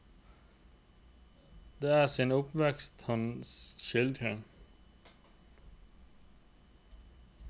Det er sin oppvekst han skildrer.